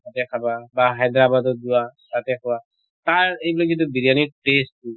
তাতে খাবা বা হাইদাৰাবাদত যোৱা তাতে খোৱা। তাৰ এইবিলাক যিটো বিৰয়ানিৰ taste টো